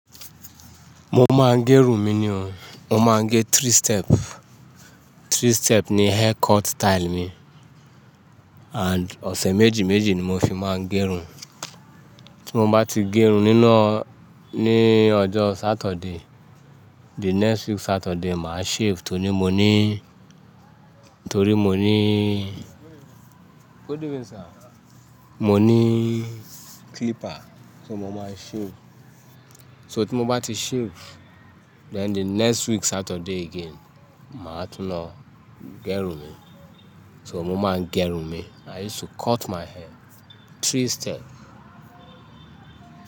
Mo máa ń gẹrun mi ni o. Mo máa ń gẹ three step. Three step ni haircut style mi. And ọ̀sẹ̀ méjì méjì ni mo fi máa ń gẹrun. Tí mo bá ti gẹrun níná ní ọjọ́ Saturday, the next week Saturday màá shave torí mo ní, torí mo ní, mo ní clipper. So mo máa shave. So tí mo bá ti shave, then the next week Saturday again, màá tún lọ gẹrun mi. So mo máa ń gẹrun mi. I used to cut my hair three step.